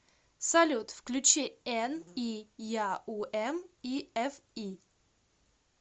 салют включи эн и я у эм и эф и